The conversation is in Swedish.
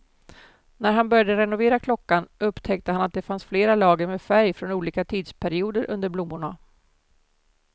När han började renovera klockan upptäckte han att det fanns flera lager med färg från olika tidsperioder under blommorna.